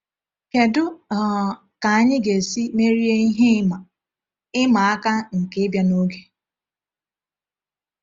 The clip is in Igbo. Kedu um ka anyị ga-esi merie ihe ịma ịma aka nke ịbịa n’oge?